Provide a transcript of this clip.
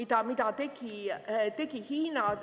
Ja mida tegi Hiina?